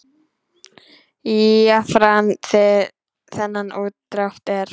Jafnan fyrir þennan útdrátt er